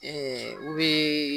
U bɛ